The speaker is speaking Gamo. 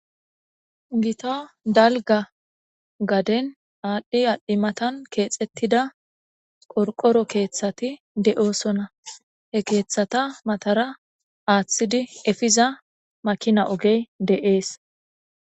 Gita dalga gadeni aadhi aadhi mathan keexetida qorqoro keethati de'osona he keethata matara aathidi efiza makina oge de'es.